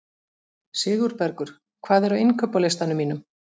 Sigurbergur, hvað er á innkaupalistanum mínum?